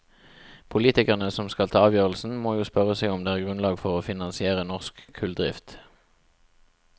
Politikerne som skal ta avgjørelsen, må jo spørre seg om det er grunnlag for å finansiere norsk kulldrift.